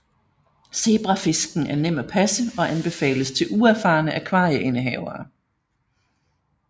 Zebrafisken er nem at passe og anbefales til uerfarne akvarieindehavere